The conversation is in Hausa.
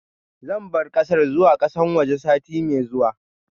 Zan bar kasar zuwa kasan waje sati mai zuwa.